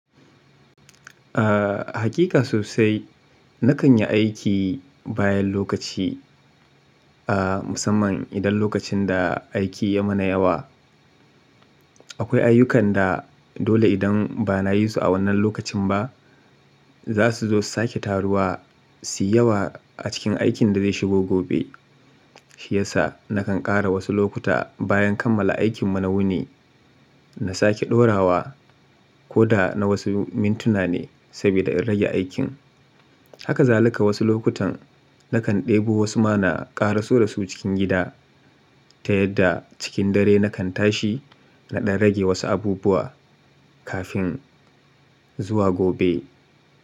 Aaa, haƙiƙa sosai. Nakan yi aiki bayan lokaci, aa musamman idan lokacin da aiki ya mana yawa. Akwai ayyukan da dole idan ba na yi su a wannan lokacin ba, za su zo su sake taruwa suyi yawa a cikin aikin da zai shigo gobe. Shi yasa nakan ƙara wasu lokuta bayan kammala aikin mu na wuni, na sake ɗorawa ko da na wasu mintuna ne saboda in rage aikin. Haka zalika wasu lokutan nakan ɗebo wasu ma na ƙaraso da su cikin gida, ta yadda cikin dare nakan tashi na ɗan rage wasu abubuwa kafin zuwa gobe.